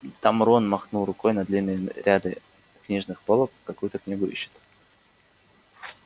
там рон махнул рукой на длинные ряды книжных полок какую-то книгу ищет